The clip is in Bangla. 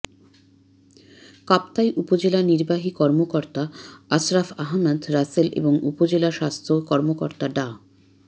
কাপ্তাই উপজেলা নির্বাহী কর্মকর্তা আশ্রাফ আহমেদ রাসেল এবং উপজেলা স্বাস্থ্য কর্মকর্তা ডা